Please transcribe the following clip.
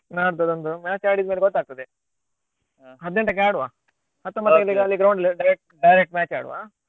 ನಾಡ್ದು ಒಂದು match ಆಡಿದ್ಮೇಲೆ ಗೊತ್ತಾಗ್ತದೆ ಹದ್ನೆಂಟಕ್ಕೆ ಆಡುವ ground ಅಲ್ಲಿ direct match ಆಡುವ.